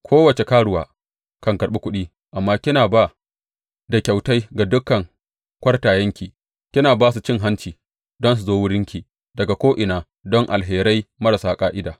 Kowace karuwa kan karɓi kuɗi, amma kina ba da kyautai ga dukan kwartayenki, kina ba su cin hanci don su zo wurinki daga ko’ina don alherai marasa ƙa’ida.